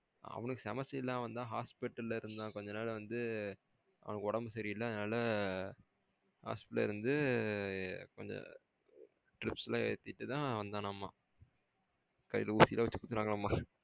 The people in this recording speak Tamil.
அவனுக்கு semester இல்ல அவன்தான் ஹோஷ்பிட்டல்லா இருந்தான் கொஞ்சம் நாள் வந்து அவனுக்கு உடம்பு சரி இல்ல அதனால ஹோஷ்பிட்டல்லா இருந்து ஆ கொஞ்சம் strips எல்லாம் எத்திதடுத்தான் வந்தனாமா கையில ஊசி எல்லாம் வச்சி குத்துனாங்கலாமா